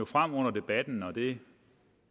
frem under debatten og det